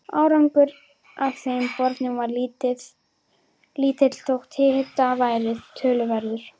Árangur af þeim borunum varð lítill þótt hiti væri töluverður.